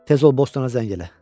Tez ol Bostona zəng elə!